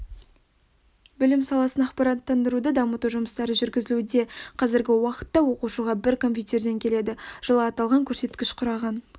білім саласын ақпараттандыруды дамыту жұмыстары жүргізілуде қазіргі уақытта оқушыға бір компьютерден келеді жылы аталған көрсеткіш құраған